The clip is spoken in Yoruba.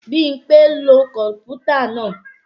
Bímpé ń lo kọ̀mpútà náà